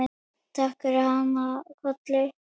Takk fyrir hana Kollu.